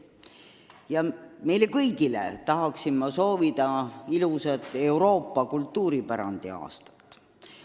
Tahan meile kõigile soovida ilusat Euroopa kultuuripärandi aastat!